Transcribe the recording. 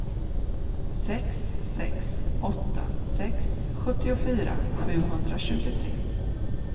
sex sex åtta sex sjuttiofyra sjuhundratjugotre